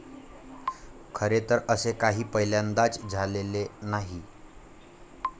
खरे तर असे काही पहिल्यांदाच झालेले नाही.